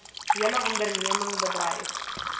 hele onderneming bedreig